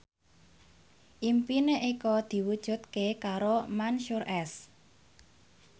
impine Eko diwujudke karo Mansyur S